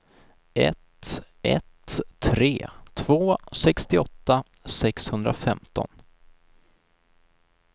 ett ett tre två sextioåtta sexhundrafemton